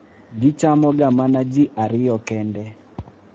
Gichamoga mana ji ariyo kende.